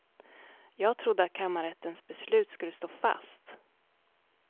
Jag trodde att kammarrättens beslut skulle stå fast.